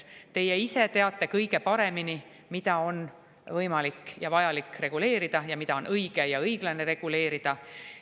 Teie ise teate kõige paremini, mida on võimalik ja vajalik reguleerida ja mida on õige ja õiglane reguleerida.